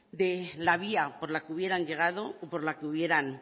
de la vía por la que hubieran llegado o por la que hubieran